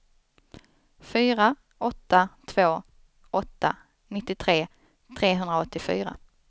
fyra åtta två åtta nittiotre trehundraåttiofyra